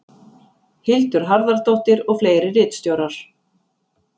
hildur harðardóttir og fleiri ritstjórar